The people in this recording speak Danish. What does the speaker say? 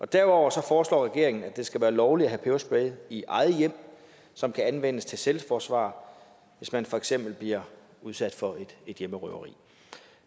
derudover foreslår regeringen at det skal være lovligt at have peberspray i eget hjem som kan anvendes til selvforsvar hvis man for eksempel bliver udsat for et hjemmerøveri